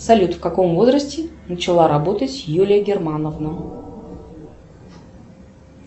салют в каком возрасте начала работать юлия германовна